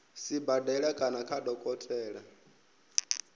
sibadela kana kha dokotela wa